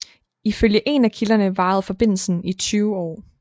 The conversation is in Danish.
I følge en af kilderne varede forbindelsen i 20 år